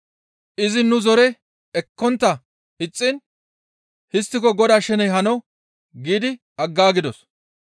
Izi nu zore ekkontta ixxiin, «Histtiko Godaa sheney hano» giidi aggaagidos.